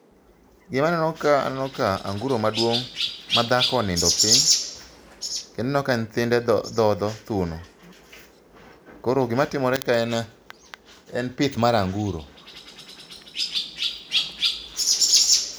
Gima aneno ka aneno ka anguro maduong' ma dhako onindo pi, kenda neno ka thinde dho dhodho thuno. Koro gima timore ka en pith mar anguro.